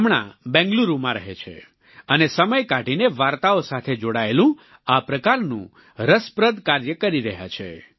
હમણાં બેંગલુરુમાં રહે છે અને સમય કાઢીને વાર્તાઓ સાથે જોડાયેલું આ પ્રકારનું રસપ્રદ કાર્ય કરી રહ્યા છે